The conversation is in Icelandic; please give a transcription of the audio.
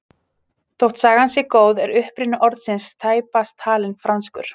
Þótt sagan sé góð er uppruni orðsins tæpast talinn franskur.